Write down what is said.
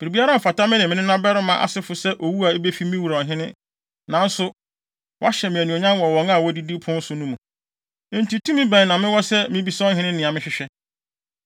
Biribiara mfata me ne me nenabarima asefo sɛ owu a ebefi me wura, ɔhene, nanso, woahyɛ me anuonyam wɔ wɔn a wodidi wo pon so no mu. Enti tumi bɛn na mewɔ sɛ mibisa ɔhene nea mehwehwɛ?”